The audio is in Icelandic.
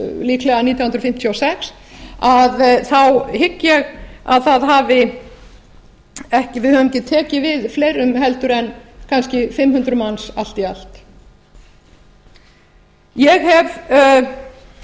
líklega nítján hundruð fimmtíu og sex hygg ég að við höfum ekki tekið við fleirum en kannski fimm hundruð manns allt í allt ég hef